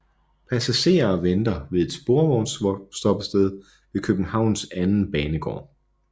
Passagerer venter ved et sporvognsstoppested ved Københavns anden banegård